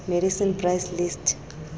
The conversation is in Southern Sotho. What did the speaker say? medicine price list mpl le